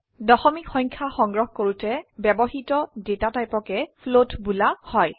দশমিক সংখ্যা সংগ্ৰহ কৰোতে ব্যবহৃত ডেটা টাইপকে ফ্লোট বোলা হয়